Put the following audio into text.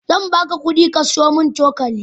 Zan baka kudi ka siyo min cokali.